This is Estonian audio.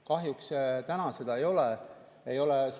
Kahjuks täna seda ei ole.